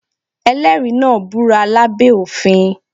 Ẹlẹ́rìí náà búra lá bẹ́ òfin.